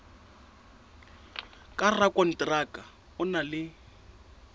ka rakonteraka o na le